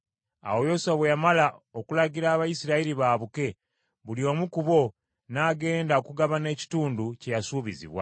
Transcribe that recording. Awo Yoswa bwe yamala okulagira Abayisirayiri baabuke, buli omu ku bo n’agenda okugabana ekitundu kye yasuubizibwa.